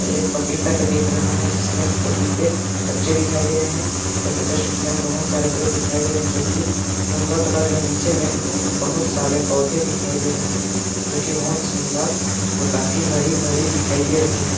एक पपीता का दिख रहा है जिसमें पपीते कच्चे दिखाई दे रहे है उसके जस्ट किनारे बहुत सारे पेड़ दिखाई दे रहे है जोकि मुनगा का लग है नीचे में बहुत सारे पौधे दिखाई दे रहे है जोकि बहुत ही सुन्दर और काफी हरी -भरी दिखाई दे रही हैं ।